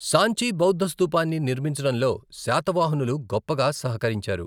సాంచి బౌద్ధ స్థూపాన్ని నిర్మించడంలో శాతవాహనులు గొప్పగా సహకరించారు.